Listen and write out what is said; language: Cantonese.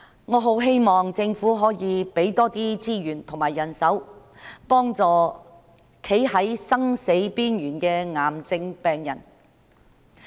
我很希望政府可以增加資源和人手，幫助站在生死邊緣的癌症病人。